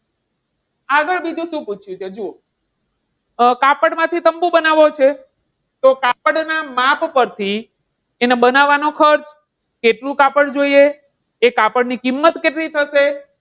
આગળ બીજું શું પૂછ્યું છે જુઓ કાપડમાંથી તંબૂ બનાવવો છે. તો કાપડ ના માપ પરથી એના બનાવવાનો ખર્ચ, કેટલું કાપડ જોઈએ, તે કાપડ ની કિંમત કેટલી થશે?